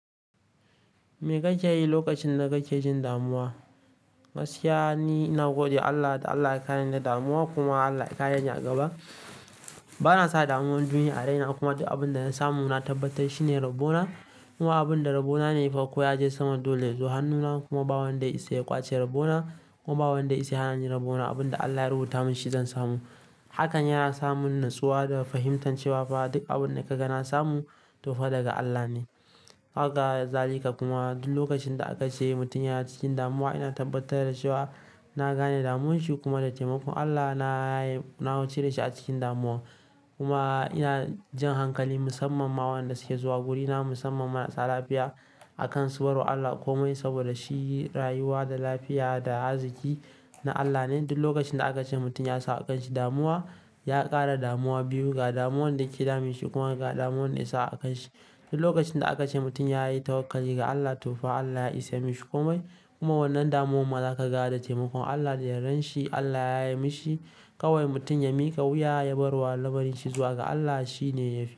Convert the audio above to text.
Me kake yi lokacin da kake jin damuwa? Gaskiya ni, ina gode Allah da Allah ya kareni da damuwa kuma Allah ya kare ni a gaba. Bana sa damuwan duniya a raina kuma abin da na samu na tabbatar shine Rabbona. Kuma abin da Rabbona ne ya fa ya je sama dole ya zo hannuna kuma ba wanda ya iya kwashe Rabbona kuma ba wanda ya iya hana ni Rabbona. Abin da Allah ya rubuta mun shi zan samu. Hakan yana sa mun natsuwa da fahimtar cewa fa duk abin da kaga na samu tofa daga Allah ne. Haka zalika kuma duk lokacin da aka ce mutum ya na cikin damuwa ina tabbatar da cewa na gane damuwarsa kuma da taimakon Allah na yi, na cire shi a cikin damuwa. Kuma ina jan hankali musamman ma waɗanda suke zuwa wurina musamman marasa lafiya a kansu bar wa Allah komai saboda shi rayuwa da lafiya da arziki na Allah ne. Duk lokacin da aka ce mutum ya sa a kanshi damuwa ya ƙara damuwa biyu ga damuwan da ke damun shi kuma ga damuwan da ya sa a kanshi. Duk lokacin da aka ce mutum ya yi tawakali ga Allah tofa Allah ya isa mishi komai. Kuma wannan damuwan ma zaka ga da taimakon Allah da yardar shi Allah ya yaye mishi. Kawai mutum ya miƙa wuya ya barwa lamarin shizuwa ga Allah shi ne yafi.